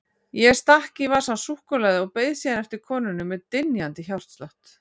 Ég stakk í vasann súkkulaði og beið síðan eftir konunni með dynjandi hjartslátt.